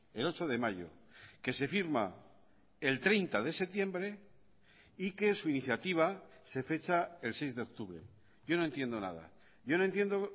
el ocho de mayo que se firma el treinta de septiembre y que su iniciativa se fecha el seis de octubre yo no entiendo nada yo no entiendo